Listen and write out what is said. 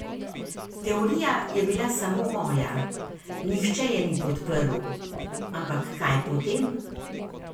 Teorija je bila samo moja, nihče je ni podprl, ampak kaj potem?